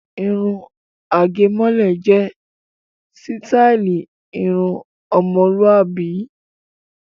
Irun àgẹ̀mọ́lẹ̀ jẹ́ sítáálì irun ọmọlúàbí.